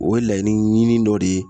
O ye laɲini ɲini dɔ de ye